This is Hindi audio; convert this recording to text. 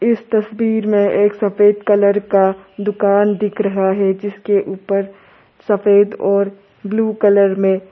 इस तस्वीर में एक सफेद कलर का दुकान दिख रहा है जिसके ऊपर सफेद और ब्लू कलर में।